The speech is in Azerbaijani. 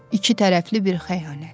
İki tərəfli bir xəyanət.